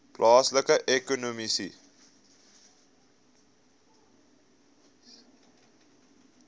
plaaslike ekonomiese